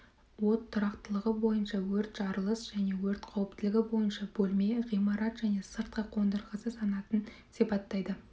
от тұрақтылығы бойынша өрт жарылыс және өрт қауіптілігі бойынша бөлме ғимарат және сыртқы қондырғысы санатын сипаттайды